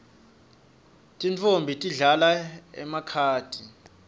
tintfombi tidlala emakhadi